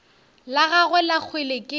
la gagwe la kgwele ke